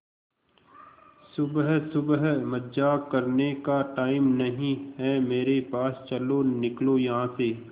सुबह सुबह मजाक करने का टाइम नहीं है मेरे पास चलो निकलो यहां से